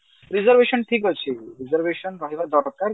reservation ଠିକଅଛି reservation ରହିବା ଦରକାର